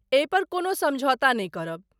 एहिपर कोनो समझौता नै करब।